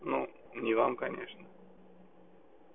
ну не вам конечно